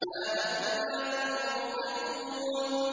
مَا لَكُمْ لَا تَنطِقُونَ